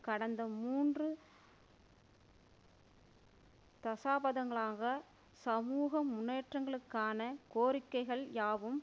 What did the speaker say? கடந்த மூன்று தசாபதங்களாக சமூக முன்னேற்றங்களுக்கான கோரிக்கைகள் யாவும்